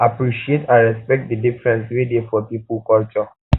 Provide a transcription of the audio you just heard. appreciate and respect di difference wey dey for pipo for pipo culture